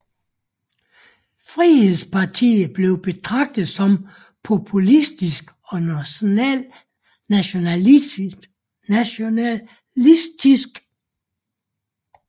Frihedspartiet bliver betragtet som populistisk og nationalistisk